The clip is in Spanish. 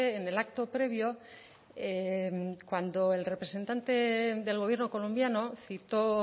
en el acto previo cuando el representante del gobierno colombiano citó